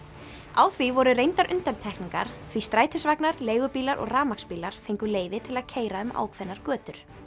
á því voru reyndar undantekningar því strætisvagnar leigubílar og rafmagnsbílar fengu leyfi til að keyra um ákveðnar götur